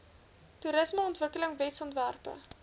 toerismeontwikkelingwetsontwerpe